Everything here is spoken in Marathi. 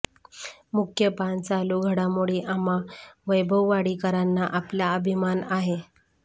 मुख्य पान चालू घडामोडी आम्हा वैभववाडीकरांना आपला अभिमान आहे